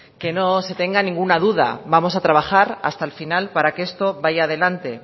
que no se tenga ninguna duda vamos a trabajar hasta el final para que esto vaya adelante